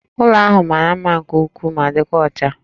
Ụlọ ahụ mara mma nke ukwuu ma dịkwa ọcha